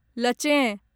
लचें